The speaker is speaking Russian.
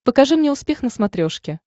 покажи мне успех на смотрешке